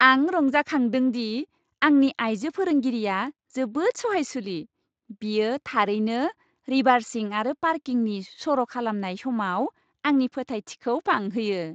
आं रंजाखांदों दि आंनि आइजो फोरोंगिरिया जोबोद सहायसुलि, बेयो थारैनो रिभार्सिं आरो पार्किंनि सर' खालामनाय समाव आंनि फोथायथिखौ बांहोयो।